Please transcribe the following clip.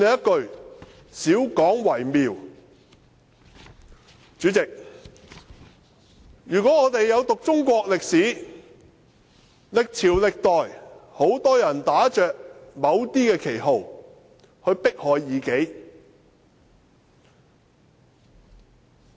代理主席，如果我們有讀中國歷史，歷朝歷代，很多人打着某些旗號去迫害異己。